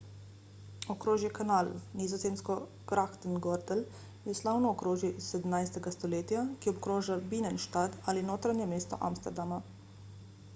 okrožje canal nizozemsko: grachtengordel je slavno okrožje iz 17. stoletja ki obkroža binnenstad ali notranje mesto amsterdama